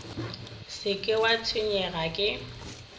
se ke wa tshwenyega ke